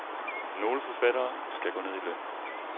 Nogle forfattere skal gå ned i løn.